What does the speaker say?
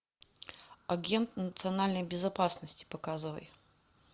агент национальной безопасности показывай